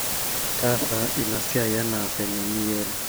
taasa inasia enavenye niyiolo